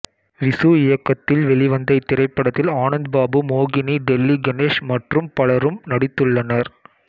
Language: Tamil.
விசு இயக்கத்தில் வெளிவந்த இத்திரைப்படத்தில் ஆனந்த் பாபு மோகினி டெல்லி கணேஷ் மற்றும் பலரும் நடித்துள்ளனர்